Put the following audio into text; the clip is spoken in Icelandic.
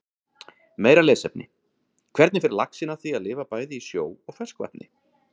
Meira lesefni: Hvernig fer laxinn að því að lifa bæði í sjó og ferskvatni?